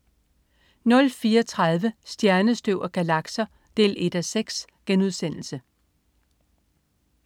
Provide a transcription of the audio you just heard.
04.30 Stjernestøv og galakser 1:6*